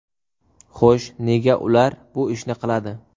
Xo‘sh, nega ular shu ishni qiladi?